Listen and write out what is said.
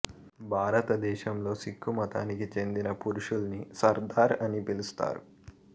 భారతదేశంలో సిక్కు మతానికి చెందిన పురుషుల్ని సర్దార్ అని పిలుస్తారు